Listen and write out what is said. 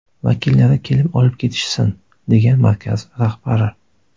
Vakillari kelib olib ketishsin”, degan markaz rahbari.